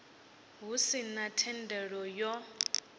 hu si na thendelo yo